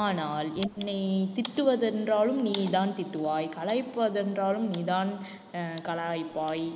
ஆனால் என்னை திட்டுவதென்றாலும் நீதான் திட்டுவாய் கலாய்ப்பதென்றாலும் நீதான்அஹ் கலாய்ப்பாய்